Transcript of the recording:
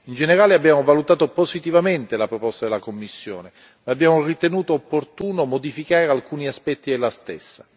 In generale, abbiamo valutato positivamente la proposta della Commissione e abbiamo ritenuto opportuno modificare alcuni aspetti della stessa.